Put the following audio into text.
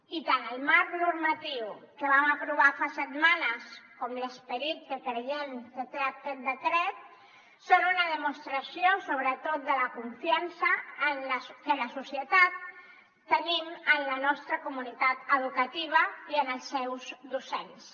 i tant el marc normatiu que vam aprovar fa setmanes com l’esperit que creiem que té aquest decret són una demostració sobretot de la confiança que la societat tenim en la nostra comunitat educativa i en els seus docents